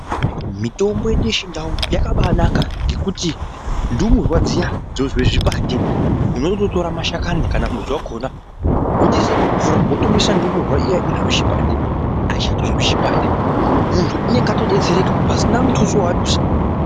Mitombo yedu yechindau yakabanaka ngekuti ndumurwa dziyani dzinozwe zvipande unondotora mashakani kana mudzi wakona wotoise mumvura wotomwisa ndumurwa iya inozwe chipande aichatozwi chipande muntu unenge atodetsereka pasina mutuso waadusa.